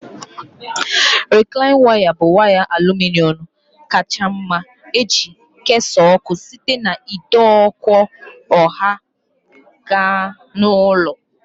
Rịklaịn waya bụ waya aluminọm kacha mma iji kesaa ọkụ site n'ide ọkụ ọha gaa na ụlọ